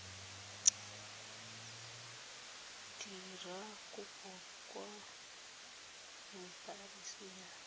dira kopo kwa embasing ya